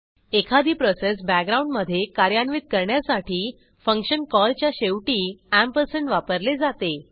एखादी प्रोसेस बॅकग्राऊंडमधे कार्यान्वित करण्यासाठी फंक्शन कॉल च्या शेवटी अँपरसँड वापरले जाते